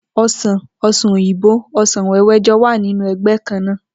O̩sàn, o̩sàn òyìnbó, o̩sàn wé̩wé̩ jo̩ wà nínú e̩gbé̩ kan náà